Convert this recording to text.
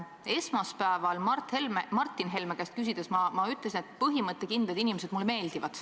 Esmaspäeval Martin Helme käest küsides ma ütlesin, et põhimõttekindlad inimesed mulle meeldivad.